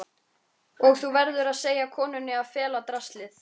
Og þú verður að segja konunni að fela draslið.